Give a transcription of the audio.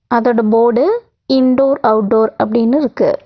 அதோட போடு indoor outdoor அப்டின்னுருக்கு.